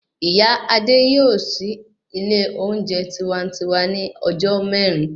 Ìyá Adé yóò sì ilé oúnjẹ tiwantiwa ní ọjọ́ mẹ́rin